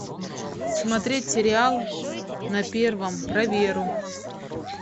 смотреть сериал на первом про веру